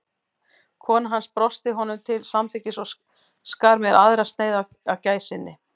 Kona hans brosti honum til samþykkis og skar mér aðra sneið af gæsinni.